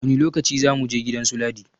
Wani lokaci za muje gidan su Ladi?